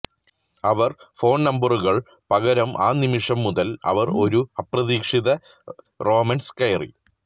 അവർ phone നമ്പറുകൾ പകരം ആ നിമിഷം മുതൽ അവർ ഒരു അപ്രതീക്ഷിത റൊമാൻസ് കയറി